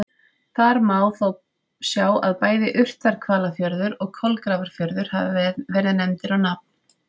Þar má þó sjá að bæði Urthvalafjörður og Kolgrafafjörður hafa verið nefndir á nafn.